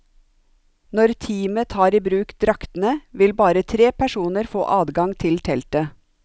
Når teamet tar i bruk draktene, vil bare tre personer få adgang til teltet.